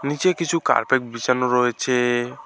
নীচে কিছু কার্পেট বিছানো রয়েছে।